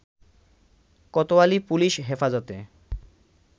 Kotwali police Hefazate